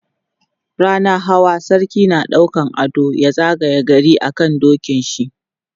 rannan Hawa sarki na ɗaukan ado ya zagaye gari a kan dokin shi